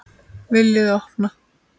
VILJIÐI OPNA!